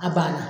A banna